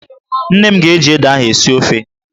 Nne m ga-eji ede ahụ esi ofe